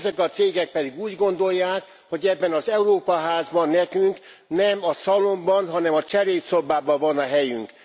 Ezek a cégek pedig úgy gondolják, hogy ebben az Európa házban nekünk nem a szalonban, hanem a cselédszobában van a helyünk.